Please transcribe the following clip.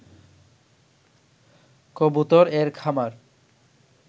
কবুতর এর খামার